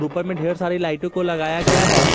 ऊपर में ढेर सारी लाइटों को लगाया गया है।